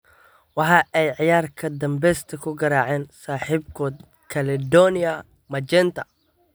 Waxa ay ciyaar kama danbesta ku garaaceen saaxiibkood Caledonia Magenta.